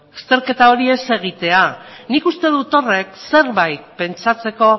azterketa hori ez egitea nik uste dut horrek zerbait pentsatzeko